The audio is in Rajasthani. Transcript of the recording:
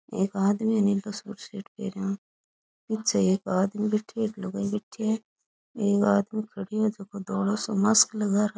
एक आदमी है नी बुसेट पहरया पीछे एक आदमी बैठयो है एक लुगाई बैठी है एक आदमी खड़ियो है जको धोलो सो मास्क लगा र --